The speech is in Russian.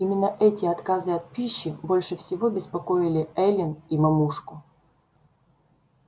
именно эти отказы от пищи больше всего беспокоили эллин и мамушку